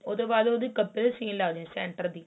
ਉਸ ਤੋਂ ਬਾਅਦ ਉਹਦੀ ਕਬੇ ਸੀਨ ਲਾ ਦੋ center ਦੀ